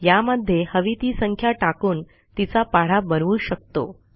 यामध्ये हवी ती संख्या टाकून तीचा पाढा बनवू शकतो